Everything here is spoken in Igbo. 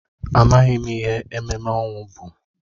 Amaghị m ihe ememme ọnwụ bụ.